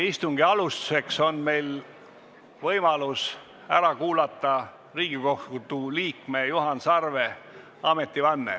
Istungi alustuseks on meil võimalus ära kuulata Riigikohtu liikme Juhan Sarve ametivanne.